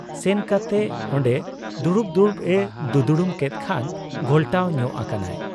ᱥᱮᱱᱠᱟᱛᱮ ᱚᱱᱰᱮ ᱫᱩᱲᱩᱵ ᱫᱩᱲᱩᱵ ᱮ ᱫᱩᱫᱽᱲᱩᱢ ᱠᱮᱫ ᱠᱷᱟᱱ ᱜᱷᱚᱞᱴᱟᱣ ᱧᱚᱜ ᱟᱠᱟᱱᱟᱭ ᱾